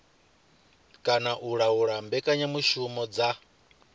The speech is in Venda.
kana u laula mbekanyamushumo dza